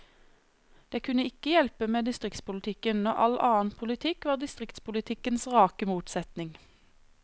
Det kunne ikke hjelpe med distriktspolitikken, når all annen politikk var distriktspolitikkens rake motsetning.